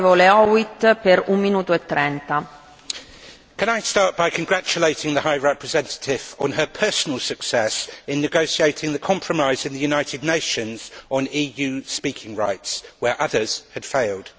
Madam President, can I start by congratulating the Vice President High Representative on her personal success in negotiating the compromise in the United Nations on EU speaking rights, where others had failed.